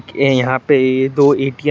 ये यहाँ पे ये दो ए_टी_एम हैं।